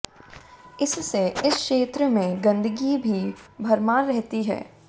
इससे इस क्षेत्र में गंदगी की भरमार रहती है